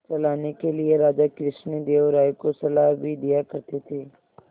चलाने के लिए राजा कृष्णदेव राय को सलाह भी दिया करते थे